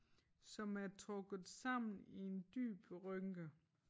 Som er trukket sammen i en dyb rynke